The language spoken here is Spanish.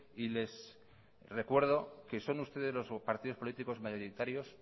y les recuerdo que son ustedes los partidos políticos mayoritarios